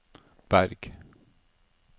Berg